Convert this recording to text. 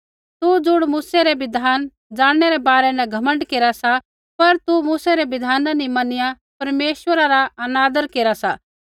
तू ज़ुण मूसै रै बिधान जाणनै रै बारै न घमण्ड केरा सा पर तुसै मूसै रै बिधान नी मनिया परमेश्वरा रा अनादर केरा सा